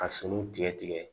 Ka suluw tigɛ tigɛ